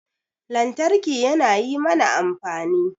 Lantarki yana yi mana amfani